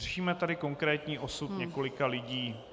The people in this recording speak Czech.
Řešíme tady konkrétní osud několika lidí.